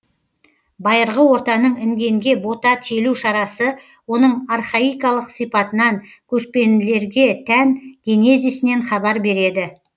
байырғы ортаның інгенге бота телу шарасы оның архаикалық сипатынан көшпелілерге тән генезисінен хабар береді